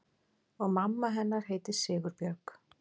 Og mamma hennar heitir Sigurbjörg?